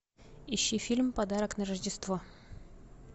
ищи фильм подарок на рождество